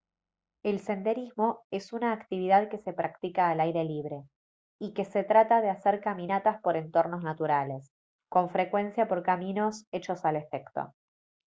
el senderismo es una actividad que se practica al aire libre y que se trata de hacer caminatas por entornos naturales con frecuencia por caminos hechos al efecto